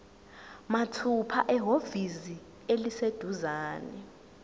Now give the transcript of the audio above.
mathupha ehhovisi eliseduzane